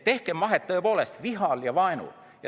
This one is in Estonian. Tehkem vahet vihal ja vaenul.